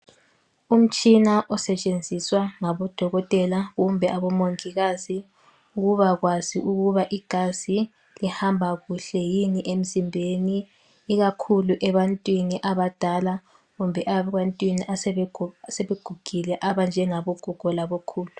Umtshina osetshenjiswa ngabodokotela, kumbe abomongikazi ukubakwazi ukuba igazi lihamba kuhle yini emzimbeni, ikakhulu ebantwini abadala kumbe ebantwini asebegugile, abanjengabogogo labokhulu.